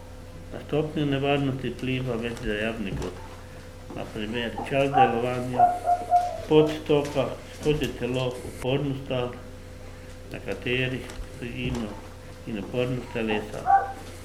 Na stopnjo nevarnosti vpliva več dejavnikov, na primer čas delovanja, pot toka skozi telo, upornost tal, na katerih stojimo, in upornost telesa.